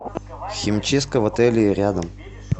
химчистка в отеле рядом